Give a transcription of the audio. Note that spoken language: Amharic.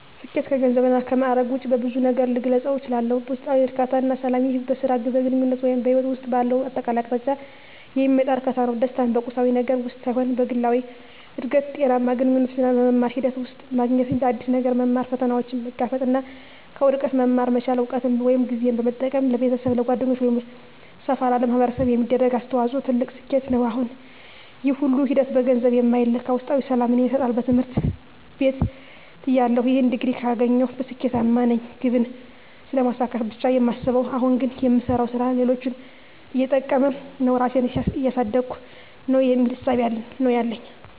ስኬት ከገንዘብ እና ከማእረግ ውጭ በብዙ ነገር ልገልፀው እችላልሁ። ውስጣዊ እርካታ እና ሰላም ይህ በሥራ፣ በግንኙነት ወይም በሕይወት ውስጥ ባለው አጠቃላይ አቅጣጫ የሚመጣ እርካታ ነው። ደስታን በቁሳዊ ነገር ውስጥ ሳይሆን በግላዊ እድገት፣ ጤናማ ግንኙነቶች እና በመማር ሂደት ውስጥ ማግኘት። አዲስ ነገር መማር፣ ፈተናዎችን መጋፈጥ እና ከውድቀት መማር መቻል። እውቀትን ወይም ጊዜን በመጠቀም ለቤተሰብ፣ ለጓደኞች ወይም ሰፋ ላለ ማኅበረሰብ የሚደረግ አስተዋጽኦ ትልቅ ስኬት ነው። ይህ ሁሉ ሂደት በገንዘብ የማይለካ ውስጣዊ ሰላምን ይሰጣል። በትምህርት ቤትተያለሁ "ይህን ዲግሪ ካገኘሁ ስኬታማ ነኝ" ግብን ስለማሳካት ብቻ ነው የማስበው። አሁን ግን "የምሰራው ሥራ ሌሎችን እየጠቀመ ነው? ራሴን እያሳደግኩ ነው?" የሚል እሳቤ ነው ያለኝ።